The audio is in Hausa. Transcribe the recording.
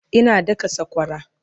Ina daka sakwara